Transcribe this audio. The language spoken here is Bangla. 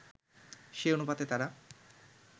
সে অনুপাতে তারা